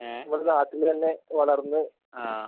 ഏഹ് ആഹ്.